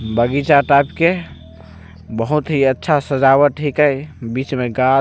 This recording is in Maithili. बगीचा टाइप के बहुत ही अच्छा सजावट हिके बीच में गाछ --